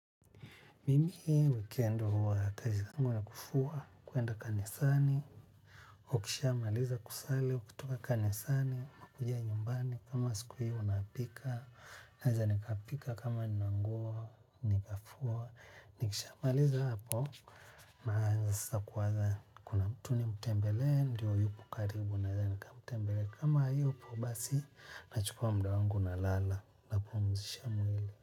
Mimi weekend huwa kazi yangu ni ya kufuwa kwenda kanisani. Ukisha maliza kusali kutoka kanisani nakuja nyumbani kama siku hiyo napika. Naweza nikapika kama ni manguo nikafua nikisha maliza hapo. Naaza sasa kuanza kuna mtu nimtembee ndiyo yupo karibu naweza nikamtembelea kama hayupo basi nachukua muda wangu na lala napumzisha mwili.